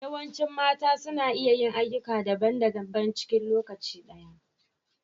Yawancin mata suna iya yin ayyuka da daban -daban cikin lokaci ɗaya.